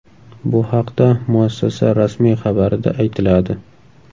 Bu haqda muassasa rasmiy xabarida aytiladi .